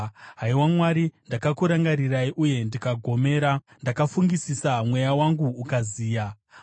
Haiwa Mwari, ndakakurangarirai, uye ndikagomera; ndakafungisisa, mweya wangu ukaziya. Sera